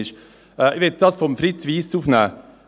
Ich möchte das von Fritz Wyss Gesagte aufnehmen.